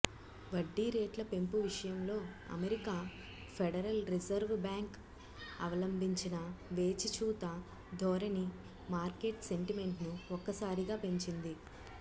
వడ్డీరేట్ల పెంపు విషయంలో America federal reserve bank అవలంభించిన వేచిచూత ధోరణి మార్కెట్ సెంటిమెంట్ను ఒక్కసారిగా పెంచింది